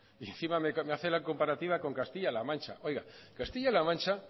y encima me hace la comparativa con castilla la mancha oiga castilla la mancha